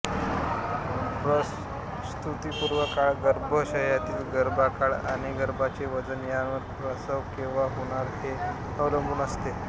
प्रसूतिपूर्व काळ गर्भाशयामधील गर्भकाळ आणि गर्भाचे वजन यावर प्रसव केंव्हा होणार हे अवलंबून असते